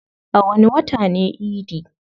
A wani wata ne idi?